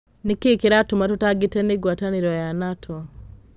Nĩ kĩĩ kĩratũma tũtangĩke nĩ ngwatanĩro ya NATO?